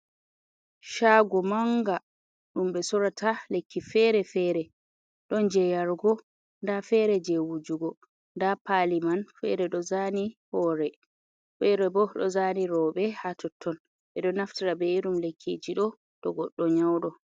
Shago manga dum be sorata lekki fere-fere, don jeyargo da fere je wujugo, da paliman fere do zani horé fere bo dó zani robé ha totton bé dó naftira bé irín lekkiji dó tó goddó nyáudó.